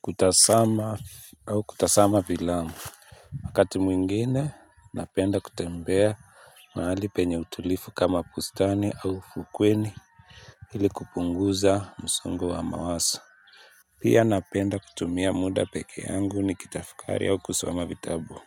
Kutasama au kutasama filamu. Wakati mwingine napenda kutembea mahali penye utulivu kama bustani au fukweni. Hili kupunguza msongo wa mawaso. Pia napenda kutumia muda peke yangu nikitafukari au kusoma vitabu.